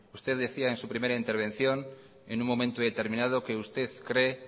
usted decía en su primera intervención en un momento determinado que usted cree